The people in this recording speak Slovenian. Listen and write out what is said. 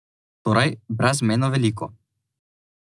Torej brezmejno veliko.